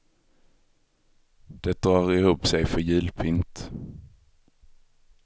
Det drar ihop sig för julpynt.